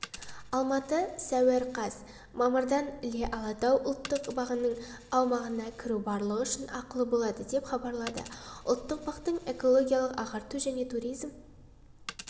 алматы сәуір қаз мамырдан іле-алатау ұлттық бағының аумағына кіру барлығы үшін ақылы болады деп хабарлады ұлттық бақтың экологиялық ағарту және туризм